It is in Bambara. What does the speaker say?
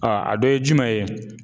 a dɔ ye jumɛn ye.